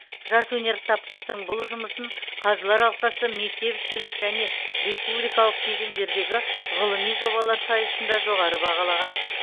жас өнертапқыштың бұл жұмысын қазылар алқасы мектепішілік және республикалық кезеңдердегі ғылыми жобалар сайысында жоғары бағалаған